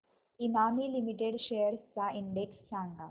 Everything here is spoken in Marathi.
इमामी लिमिटेड शेअर्स चा इंडेक्स सांगा